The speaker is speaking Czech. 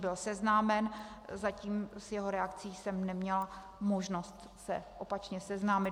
Byl seznámen, zatím s jeho reakcí jsem neměla možnost se opačně seznámit.